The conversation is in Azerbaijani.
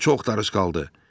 Bura çox darışqaldı.